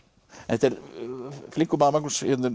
þetta er flinkur maður Magnús hérna er